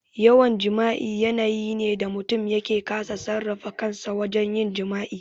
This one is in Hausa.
Yawan jima'i yanayi ne da mutum yake kasa sarrafa kansa wajen yin jima'i.